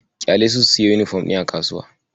Ƙyalesu su siyo yunifom ɗin a kasuwa.